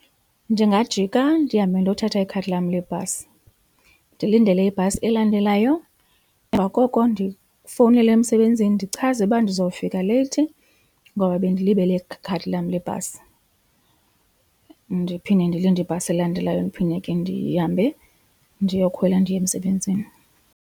Ndingajika ndihambe ndiyothatha ikhadi lam lebhasi, ndilindele ibhasi elandelayo emva koko ndifowunele emsebenzini ndichaze uba ndizofika leyithi ngoba bendilibele ikhadi lam lebhasi. Ndiphinde ndilinde ibhasi elandelayo ndiphinde ke ndihambe ndiyokhwela ndiye emsebenzini.